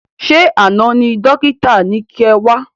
Ṣé àna ni dókítà ni kẹ wá?